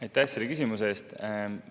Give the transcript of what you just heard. Aitäh selle küsimuse eest!